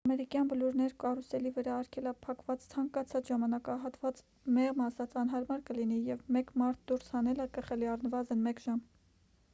ամերիկյան բլուրներ կարուսելի վրա արգելափակված ցանկացած ժամանակահատված մեղմ ասած անհարմար կլինի և մեկ մարդ դուրս հանելը կխլի առնվազն մեկ ժամ